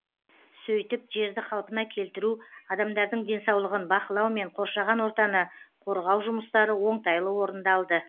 сөйтіп жерді қалпына келтіру адамдардың денсаулығын бақылау мен қоршаған ортаны қорғау жұмыстары оңтайлы орындалды